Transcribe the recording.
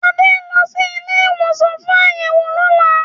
Adé ń lọ sí ilé-ìwòsàn fún àyẹ̀wò lọ́la.